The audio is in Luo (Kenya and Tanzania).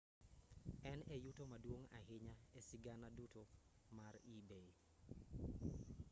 en e yuto maduong' ahinya e sigana duto mar ebay